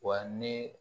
Wa ne